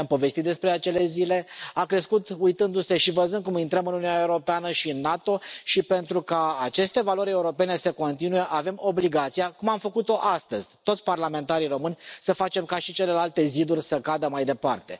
I am povestit despre acele zile, a crescut uitându se și văzând cum intrăm în Uniunea Europeană și în NATO și, pentru ca aceste valori europene să continue, avem obligația, cum am făcut o astăzi toți parlamentarii români, să facem ca și celelalte ziduri să cadă mai departe.